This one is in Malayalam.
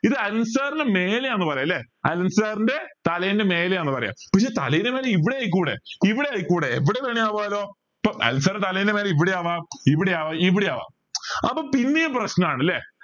ഇത് അലൻ sir ന് മേലെയാന്ന് പറായാലേ അലൻ sir ൻ്റെ തലയിന്റെ മേലെയാന്ന് പറയാ പക്ഷെ തലയിന്റെ മേലെ ഇവിടെ ആയിക്കൂടെ ഇവിടെ ആയിക്കൂടെ എവിടെ വേണേലും ആവാലോ ഇപ്പൊ അലൻ sir ൻ്റെ തലയന്റെ മേലെ ഇവിടെ ആവാം ഇവിടെ ആവാം ഇവിടെ ആവാം അപ്പൊ പിന്നെയും പ്രശ്‌നാണ് അല്ലെ